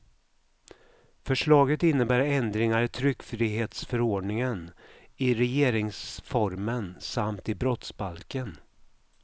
Förslaget innebär ändringar i tryckfrihetsförordningen, i regeringsformen samt i brottsbalken.